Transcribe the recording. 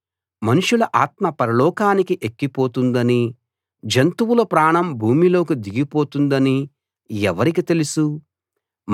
మనుషుల ఆత్మ పరలోకానికి ఎక్కిపోతుందనీ జంతువుల ప్రాణం భూమిలోకి దిగిపోతుందనీ ఎవరికి తెలుసు